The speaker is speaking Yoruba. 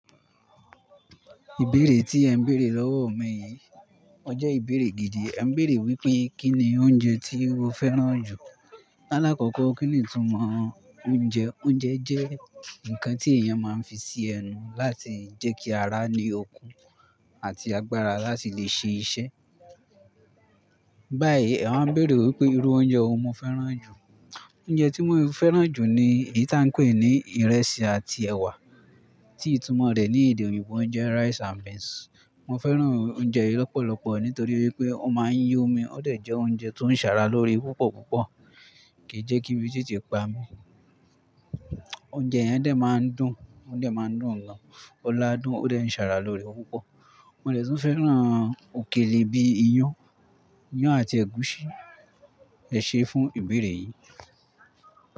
Ìbéèrè tí ẹ ń béèrè lọ́wọ́ mi yìí, ọ jẹ́ ìbéèrè gidi. Ẹ ń béèrè wípé kínni oúnjẹ tí mo fẹ́ràn jù? Alákọ̀kọ́ kí ni ìtumọ̀ oúnjẹ? Oúnjẹ jẹ́ ǹkan tí èèyàn máa ń fi ṣe ẹnu láti jẹ́ kí ara ní okun àti agbára láti lè ṣe iṣẹ́. Báyìí ẹ máa ń béèrè wípé irú oúnjẹ wo mo fẹ́ràn jù. Oúnjẹ tí mo fẹ́ràn jù ni èyí tí à ń pè ní ìrẹsì àti ẹ̀wà tí ìtumọ̀ rẹ̀ ní èdè òyìnbó jẹ́ rice and beans. Mo fẹ́ràn oúnjẹ yìí lọ́pọ̀lọpọ̀ nítorí wípé ó máa ń yí omi ó dẹ̀ jẹ́ oúnjẹ tó ń ṣàrà lórí púpọ̀púpọ̀ kì í jẹ́ kí ibi tètè pa mi. Oúnjẹ yẹn dẹ̀ máa ń dùn, ó dẹ̀ máa ń dùn gan. Ọlá dùn, ó dẹ̀ ń ṣàrà lóre púpọ̀. Mo dẹ̀ tún fẹ́ràn òkèlè bíi iyán, iyán àti ẹ̀gúsí. Ẹ ṣe fún ìbéèrè yìí.